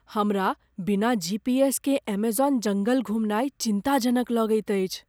हमरा बिना G. P. S. केँ एमेजॉन जंगल घुमनाइ चिन्ताजनक लगैत अछि।